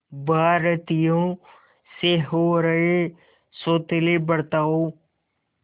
भारतीयों से हो रहे सौतेले बर्ताव